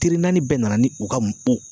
Teri naani bɛɛ nana ni u ka